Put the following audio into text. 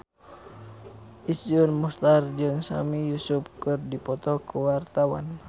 Iszur Muchtar jeung Sami Yusuf keur dipoto ku wartawan